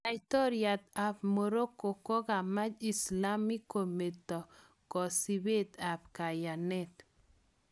Laitoryat ab Morocco kokamach Islamiek kometo kosibet ab kayanet